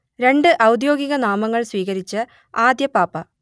രണ്ട് ഔദ്യോഗിക നാമങ്ങൾ സ്വീകരിച്ച ആദ്യ പാപ്പ